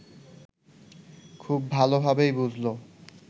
খুব ভালোভাবেই বুঝল